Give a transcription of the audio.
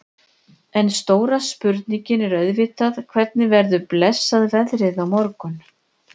En stóra spurningin er auðvitað hvernig verður blessað veðrið á morgun?